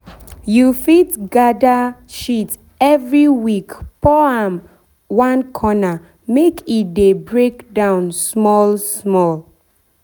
you fit dey gather shit every week pour am one corner make e dey break down small small.